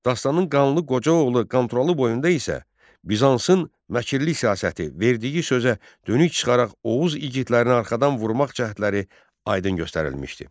Dastanın Qanlı Qoca oğlu Qanturalı boyunda isə Bizansın məkrli siyasəti, verdiyi sözə dönük çıxaraq Oğuz igidlərinə arxadan vurmaq cəhdləri aydın göstərilmişdi.